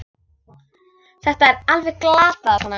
Þetta er alveg glatað svona!